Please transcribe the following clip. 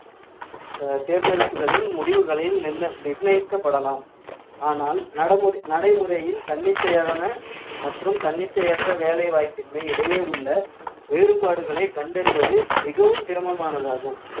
அஹ் தேர்ந்தெடுப்புகளின் முடிவுகளில் நிர்ண~ நிர்ணயிக்கப்படலாம் ஆனால் நடமு~ நடைமுறையில் தன்னிச்சையான மற்றும் தன்னிச்சையற்ற வேலைவாய்ப்பின்மை இடையே உள்ள வேறுபாடுகளை கண்டறிவது மிகவும் சிரமமானதாகும்